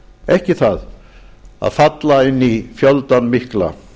ekki það að falla inn í fjöldann mikla